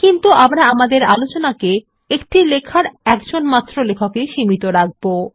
কিন্তু আমরা আমাদের আলোচনাকে একটি লেখার একজনমাত্র লেখকেই সীমিত রাখবো